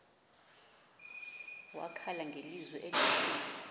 wakhala ngelizwi elikhulu